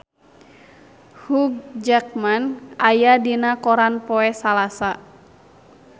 Hugh Jackman aya dina koran poe Salasa